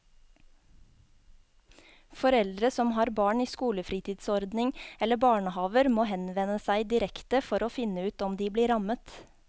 Foreldre som har barn i skolefritidsordning eller barnehaver må henvende seg direkte for å finne ut om de blir rammet.